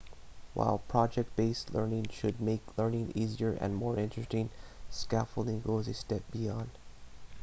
while project based learning should make learning easier and more interesting scaffolding goes a step beyond